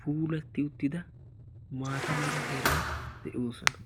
puulatti uttida maata mera heran de'oosona.